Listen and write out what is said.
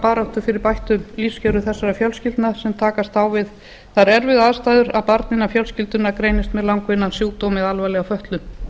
baráttu fyrir bættum lífskjörum þessara fjölskyldna sem takast á við þær erfiðu aðstæður að barn innan fjölskyldunnar greinist með langvinnan sjúkdóm eða alvarlega fötlun